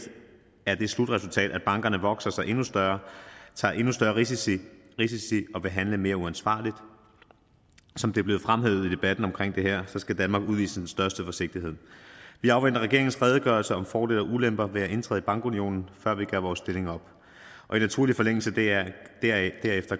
har det slutresultat at bankerne vokse sig endnu større tager endnu større risici risici og vil handle mere uansvarligt som det er blevet fremhævet i debatten om det her så skal danmark udvise den største forsigtighed vi afventer regeringens redegørelse om fordele og ulemper ved at indtræde i bankunionen før vi gør vores stilling op og i naturlig forlængelse deraf